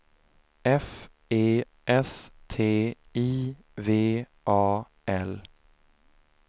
F E S T I V A L